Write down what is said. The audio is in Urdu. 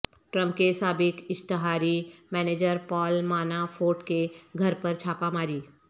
ٹرمپ کے سابق اشتہاری مینیجر پال مانافورٹ کے گھر پر چھاپہ ماری